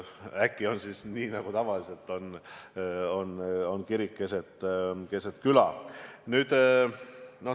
Äkki on siis nii nagu tavaliselt – kirik keset küla.